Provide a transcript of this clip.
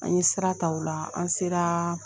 An ye sira ta ola an sera